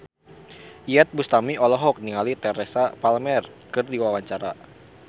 Iyeth Bustami olohok ningali Teresa Palmer keur diwawancara